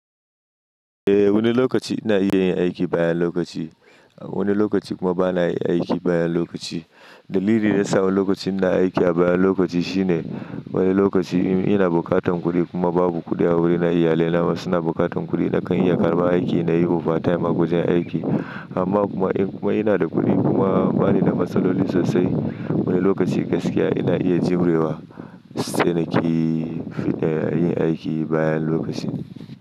Eh wani lokaci ina iya yin aiki bayan lokaci, wani lokaci kuma bana yin aiki bayan lokaci. Dalili da ya sa wani lokaci ina aiki a bayan lokaci shine wani lokaci ina buƙatan kuɗi kuma babu kuɗi a wurina, iyalina kuma suna buƙatan kuɗi nakan iya karɓa aiki na yi overtime a wajen aiki. Amma kuma in kuma ina da kuɗi kuma bani da matsaloli sosai, wani lokaci gaskiya ina iya jibre wa sai na ƙi yin aiki bayan lokaci.